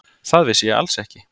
Það vissi ég alls ekki.